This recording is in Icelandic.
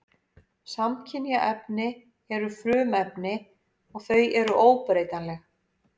Samkynja efni eru frumefni og þau eru óbreytanleg.